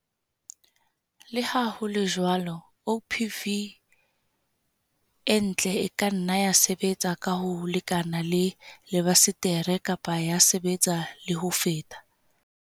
Le ha ho le jwalo, OPV e ntle e ka nna ya sebetsa ka ho lekana le lebasetere kapa ya sebetsa le ho feta.